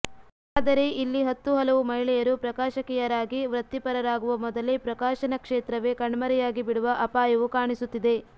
ಆದರೆ ಇಲ್ಲಿ ಹತ್ತು ಹಲವು ಮಹಿಳೆಯರು ಪ್ರಕಾಶಕಿಯರಾಗಿ ವೃತ್ತಿಪರರಾಗುವ ಮೊದಲೇ ಪ್ರಕಾಶನ ಕ್ಷೇತ್ರವೆ ಕಣ್ಮರೆಯಾಗಿ ಬಿಡುವ ಅಪಾಯವು ಕಾಣಿಸುತ್ತಿದೆ